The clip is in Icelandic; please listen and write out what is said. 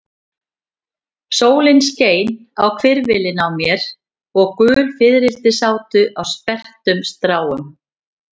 Sólin skein á hvirfilinn á mér og gul fiðrildi sátu á sperrtum stráum.